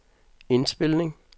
indspilning